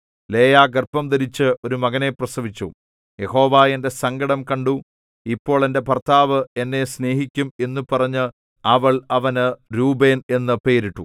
ലേയാ ഗർഭംധരിച്ചു ഒരു മകനെ പ്രസവിച്ചു യഹോവ എന്റെ സങ്കടം കണ്ടു ഇപ്പോൾ എന്റെ ഭർത്താവ് എന്നെ സ്നേഹിക്കും എന്നു പറഞ്ഞ് അവൾ അവന് രൂബേൻ എന്നു പേരിട്ടു